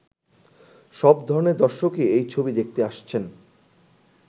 সব ধরণের দর্শকই এই ছবি দেখতে আসছেন।